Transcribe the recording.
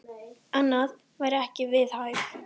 Annað væri ekki við hæfi.